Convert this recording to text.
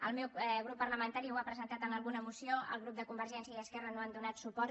el meu grup parlamentari ho ha presentat en alguna moció els grups de convergència i esquerra no hi han donat suport